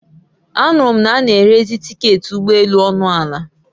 A nụrụ m na a n'erezi tiketị ụgbọ elù ọnụ ala